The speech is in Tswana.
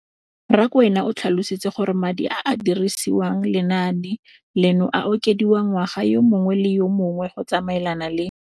Rakwena o tlhalositse gore madi a a dirisediwang lenaane leno a okediwa ngwaga yo mongwe le yo mongwe go tsamaelana le